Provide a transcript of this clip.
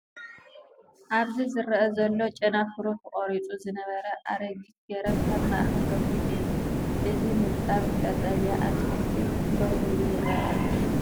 ኣብዚ ዝረአ ዘሎ ጨናፍሩ ተቖሪጹ ዝነበረ ኣረጊት ገረብ ኣብ ማእከል ረጒድ እዩ። እዚ ንጣብ ቀጠልያ ኣትክልቲ ደው ኢሉ ይርአ ኣሎ።